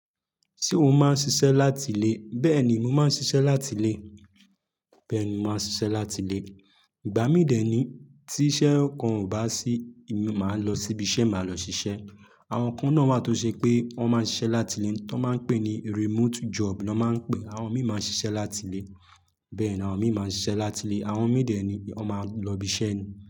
Ṣé o máa ń ṣiṣẹ́ láti ilé? Bẹ́ẹ̀ ni, mo máa ń ṣiṣẹ́ láti ilé. Bẹ́ẹ̀ ni, mo máa ń ṣiṣẹ́ láti ilé. Ìgbà mí dẹ̀ ni tí iṣẹ́ kan ò bá sí, emi máa lọ síbi iṣẹ́, màá lọ ṣiṣẹ́. Àwọn kan náà wà tó ṣe pé wọ́n máa ń ṣiṣẹ́ láti lé tó máa ń pè ní remote job ni wọ́n máa ń pè é. Àwọn mi máa ń ṣiṣẹ́ láti ilé. Bẹ́ẹ̀ ni, àwọn mi máa ń ṣiṣẹ́ láti ilé. Àwọn mi dẹ̀ ẹ ni wọ́n máa ń lọ ibi iṣẹ́ ni.